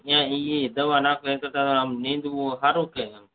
એ અહી દવા નાખ્વીએ તો નિદામણ સારું કે